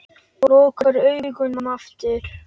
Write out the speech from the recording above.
Lokar augunum aftur.